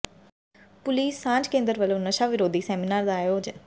police ਸਾਂਝ ਕੇਂਦਰ ਵਲੋਂ ਨਸ਼ਾ ਵਿਰੋਧੀ ਸੈਮੀਨਾਰ ਦਾ ਆਯੋਜਨ